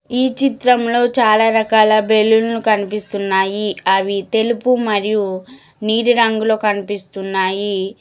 ఈ చిత్రం లో చాలా రకాల బల్లన్లు కనిపిస్తున్నాయి అవి తెలుపు మరియు నీలి రంగులో కనిపిస్తున్నాయి.